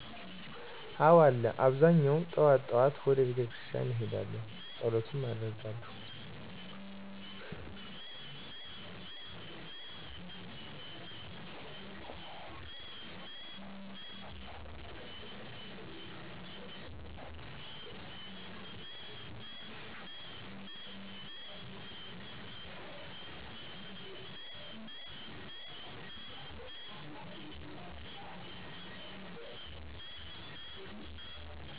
አዎ አለ አብዛኛው ጥዋት ጥዋት ወደ ቤተክርስቲያን እሄዳለሁ ፀሎት አደርጋለሁ።